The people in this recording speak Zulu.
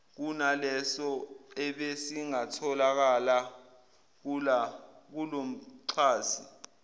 kunaleso ebesingatholakala kulomxhasi